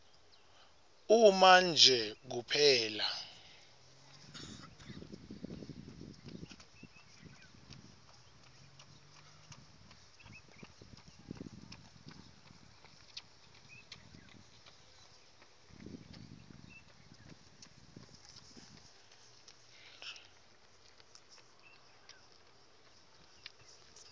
uma nje kuphela